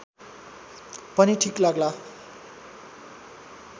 पनि ठीक लाग्ला